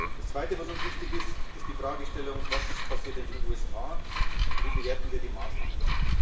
Das Zweite, was uns wichtig ist, ist die Fragestellung Was passiert in den USA, und wie bewerten wir die Maßnahmen?